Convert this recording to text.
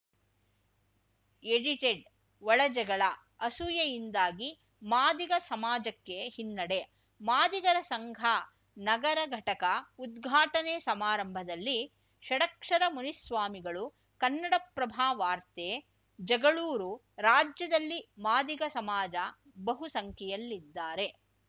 edited ಒಳಜಗಳ ಅಸೂಯೆಯಿಂದಾಗಿ ಮಾದಿಗ ಸಮಾಜಕ್ಕೆ ಹಿನ್ನಡೆ ಮಾದಿಗರ ಸಂಘ ನಗರ ಘಟಕ ಉದ್ಘಾಟನೆ ಸಮಾರಂಭದಲ್ಲಿ ಷಡಕ್ಷರ ಮುನಿಸ್ವಾಮಿಗಳು ಕನ್ನಡಪ್ರಭ ವಾರ್ತೆ ಜಗಳೂರು ರಾಜ್ಯದಲ್ಲಿ ಮಾದಿಗ ಸಮಾಜ ಬಹುಸಂಖ್ಯೆಯಲ್ಲಿದ್ದಾರೆ